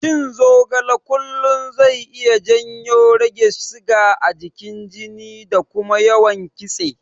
Cin zogale kullum zai iya janyo rage siga a cikin jini da kuma yawan kitse.